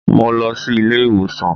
Mo lọ sí ilé ìwòsàn